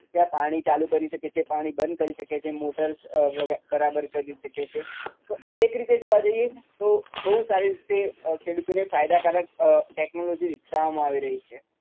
કે આ પાણી ચાલુ કરી શકે છે, પાણી બંધ કરી શકે છે motor અમ બરાબર કરી શકે છે તો આ એક રીતે જોવા જઈએ તો બોઉં સારી રીતે અમ ખેડૂતોને ફાયદાકારક અમ technology વિકસાવવામાં આવી રહી છે